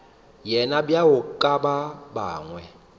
yena bjalo ka ba bangwe